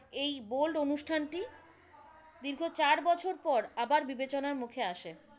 এই bold অনুষ্ঠানটি দীর্ঘ চার বছর পর আবার বিবেচনার মুখে আসে।